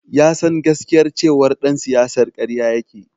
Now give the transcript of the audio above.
Ya san gaskiyar cewar ɗan siyasar karya yake.